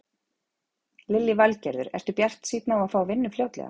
Lillý Valgerður: Ertu bjartsýnn á að fá vinnu fljótlega?